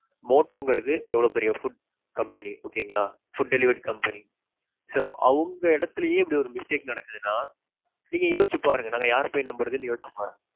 motto ங்கிறது எவ்வளவு பெரிய food கம்பெனி. okay ங்களா. உணவு food delivery company. . So, அவங்க எடத்துலேயே இப்பிடி ஒரு mistake நடக்குதுனா, நீங்க யோசிச்சு பாருங்க நாங்க யார போயி நம்புறதுனு யோசிச்சு பாருங்க.